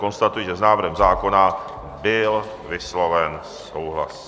Konstatuji, že s návrhem zákona byl vysloven souhlas.